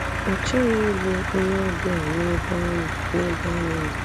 Ọ chọghị ịbụ onyeọbịa n’ebe anyị n’ebe anyị nọ.